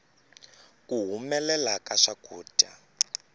ku humelela ka swakudya